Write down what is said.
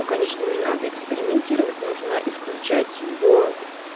то конечно не надо экспериментировать нужно исключать его